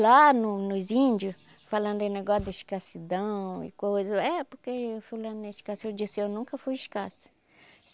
Lá no nos índio, falando aí negócio da escassidão e coisa, é porque fulano é escassa, eu disse, eu nunca fui escassa.